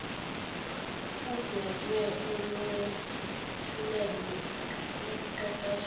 kudwetshwa olwethulelwe ukuqeqesha